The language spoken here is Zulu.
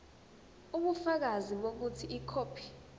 ubufakazi bokuthi ikhophi